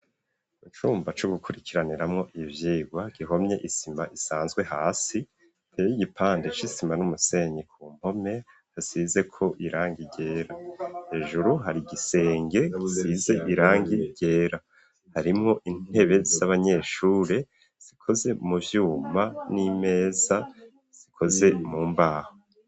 Mu cumba co gukurikiraniramo ivyigwa gihomye isima isanzwe hasi hateye igipande c'isima n'umusenyi. Ku mpome hasizeko irangi ryera; hejuru hari igisenge gisize irangi ryera, harimwo intebe z'abanyeshuri zikoze mu vyuma n'imeza zikoze mu mbaho